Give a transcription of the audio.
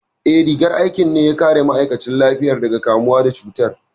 Eh, rigar aikin ne ya kare ma'aikatan lafiya daga kamuwa da cutar